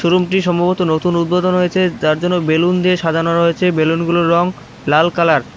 শোরুমটি সম্ভবত নতুন উদ্বোধন হয়েছে যার জন্য বেলুন দিয়ে সাজানো রয়েছে বেলুনগুলোর রং লাল কালার ।